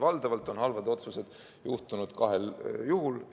Valdavalt on halvad otsused juhtunud kahel juhul.